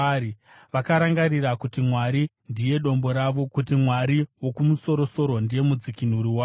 Vakarangarira kuti Mwari ndiye Dombo ravo, kuti Mwari Wokumusoro-soro ndiye Mudzikinuri wavo.